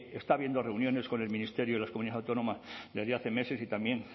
está habiendo reuniones con el ministerio y las comunidades autónomas desde hace meses y también